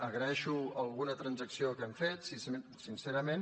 agraeixo alguna transacció que hem fet sincerament